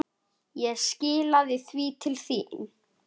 Ég skilaði því til þín.